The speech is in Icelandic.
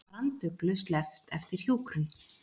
Branduglu sleppt eftir hjúkrun